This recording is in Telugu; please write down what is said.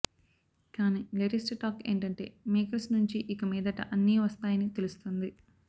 కానీ లేటెస్ట్ టాక్ ఏంటంటే మేకర్స్ నుంచి ఇక మీదట అన్నీ వస్తాయని తెలుస్తుంది